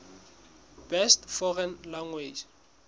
best foreign language